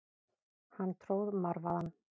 Hann tróð marvaðann.